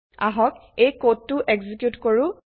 আহক এই কোডটো এক্সেকিউত কৰো